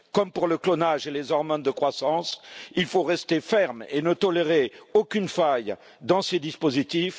Comme pour le clonage et les hormones de croissance, il faut rester ferme et ne tolérer aucune faille dans ces dispositifs.